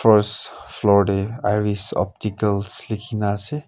first floor dae iris opticals likina ase.